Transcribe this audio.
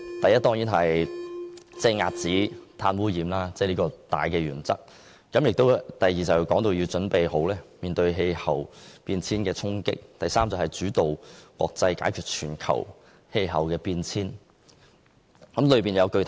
第一，遏止碳污染，這是大原則；第二，準備面對氣候變化的衝擊；第三，主導國際解決全球氣候變化。